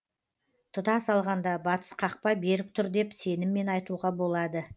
тұтас алғанда батыс қақпа берік тұр деп сеніммен айтуға болады